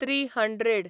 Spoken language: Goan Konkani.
three hundred